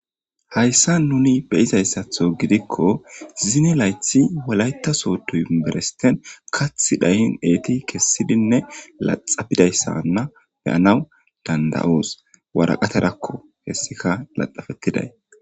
Hayssa nuni be izayssatho gidikko zine laythi walaytaso tu iberesten kath dhayin eeti kessidinne laxapidayssanna beyanaw danda'oos waraqaterakko hessika laxafettiday.